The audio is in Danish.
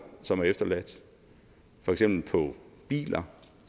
som er efterladt for eksempel på biler